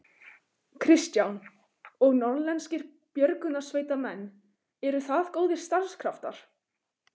Kristján: Og norðlenskir björgunarsveitarmenn, eru það góðir starfskraftar?